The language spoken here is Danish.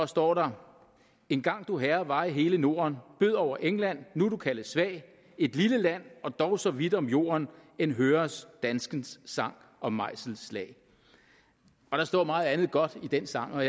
står der en gang du herre var i hele norden bød over england nu du kaldes svag et lille land og dog så vidt om jorden end høres danskens sang og mejselsslag der står meget andet godt i den sang og